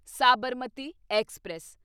Sabarmati express